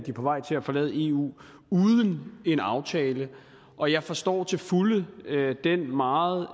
på vej til at forlade eu uden en aftale og jeg forstår til fulde den meget